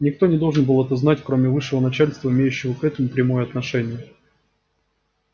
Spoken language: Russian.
никто не должен был этого знать кроме высшего начальства имеющего к этому прямое отношение